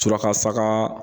Suraka saga